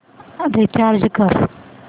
recharge कर